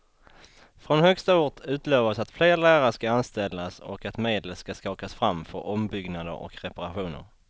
Från högsta ort utlovas att fler lärare ska anställas och att medel ska skakas fram för ombyggnader och reparationer.